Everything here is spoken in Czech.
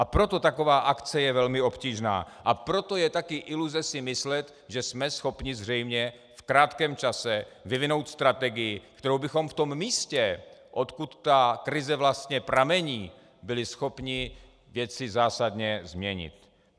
A proto taková akce je velmi obtížná, a proto je taky iluze si myslet, že jsme schopni zřejmě v krátkém čase vyvinout strategii, kterou bychom v tom místě, odkud ta krize vlastně pramení, byli schopni věci zásadně změnit.